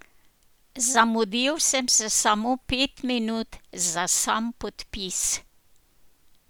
Zamudil sem se samo pet minut za sam podpis.